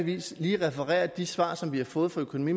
vis lige referere de svar som vi har fået fra økonomi